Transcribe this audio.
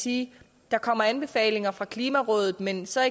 sige at der kommer anbefalinger fra klimarådet men så er